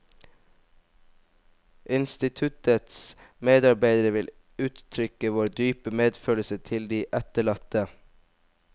Instituttets medarbeidere vil uttrykke vår dype medfølelse til de etterlatte.